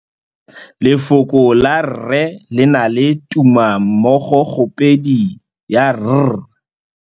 Lefoko la rre le na le tumammogôpedi ya, r.